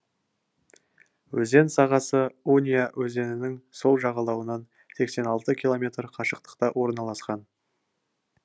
өзен сағасы унья өзенінің сол жағалауынан сексен алты километр қашықтықта орналасқан